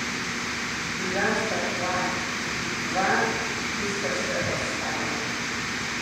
Bila sta dva, dva, ki sta še ostala.